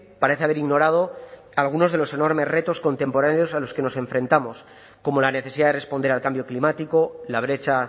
parece haber ignorado algunos de los enormes retos contemporáneos a los que nos enfrentamos como la necesidad de responder al cambio climático la brecha